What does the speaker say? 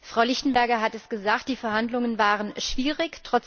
Frau Lichtenberger hat es gesagt, die Verhandlungen waren schwierig.